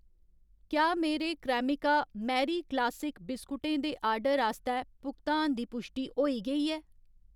क्या मेरे Cremica Marie classic बिस्कुटें दे आर्डर आस्तै भुगतान दी पुश्टि होई गेई ऐ ?